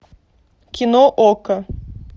кино окко